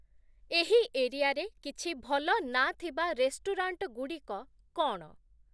ଏହି ଏରିଆରେ କିଛି ଭଲ ନାଁ ଥିବା ରେଷ୍ଟୁରାଣ୍ଟଗୁଡ଼ିକ କ’ଣ?